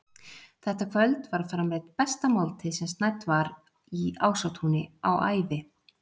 Þetta kvöld var framreidd besta máltíð sem snædd var í Ásatúni á ævi